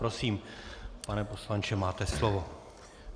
Prosím, pane poslanče, máte slovo.